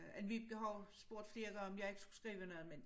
Anne Vibeke har jo spurgt flere gange om jeg ikke skulle skrive noget men